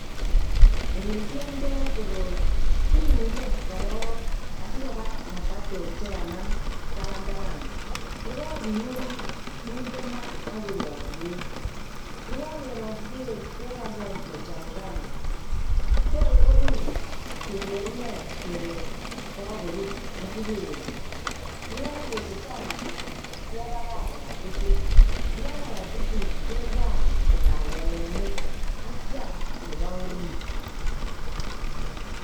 Elekiomndo koroi kiune koroi asikoba ngatatek chekanam tabantaban, yekokiun kinde maa akerong'yi beek, yekokerong'yi beek kekany any kochumukan toor korur keker ineii kelee kokorur asikesut, yekokesut any kebakach kokaititit, yekakokaititit kebaal balelenik akiam neboo oriit.